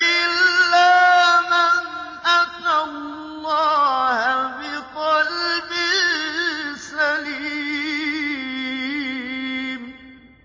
إِلَّا مَنْ أَتَى اللَّهَ بِقَلْبٍ سَلِيمٍ